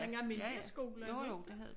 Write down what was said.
Den almindelige skole ikke?